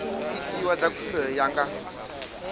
itiwa dza khumbelo ya nga